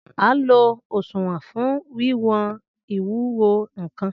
An lo òṣùwọ̀n fún wíwọn ìwúwo nkàn